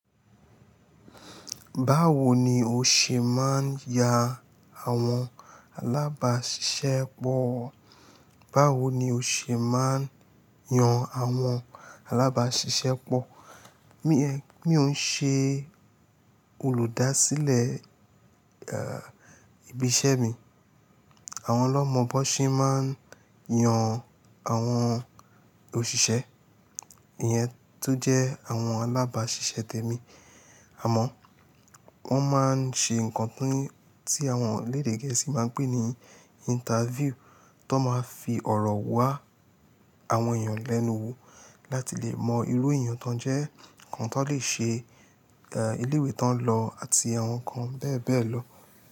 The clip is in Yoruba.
Báwo ni o ṣe máa ń ya àwọn alábàáṣiṣẹ́ pọ̀? Báwo ni o ṣe máa ń yan àwọn alábáàṣiṣẹ́ pọ̀? Mi ò ń ṣe olùdásílẹ̀, ẹ́, ibi iṣẹ́ mi. Àwọn lọ́mọ bó ṣe máa ń yan àwọn òṣìṣẹ́, ìyẹn tó jẹ́ àwọn alábáàṣiṣẹ́ tèmi. Àmọ́ wọ́n máa ń ṣe nǹkan tí àwọn elédè gẹ̀ẹ́sì máa ń pè ní interview tó máa fi ọ̀rọ̀ wá àwọn èèyàn lẹ́nu wo láti lè mọ irú èèyàn tó ń jẹ́, nǹkan tón lè ṣe, ẹ́, ilé ìwé tó ń lọ àti àwọn nǹkan bẹ́ẹ̀ bẹ́ẹ̀ lọ.